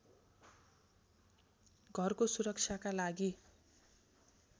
घरको सुरक्षाका लागि